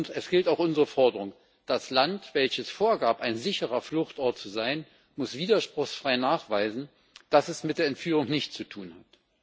Es gilt auch unsere Forderung Das Land, welches vorgab, ein sicherer Fluchtort zu sein, muss widerspruchsfrei nachweisen, dass es mit der Entführung nichts zu tun hat.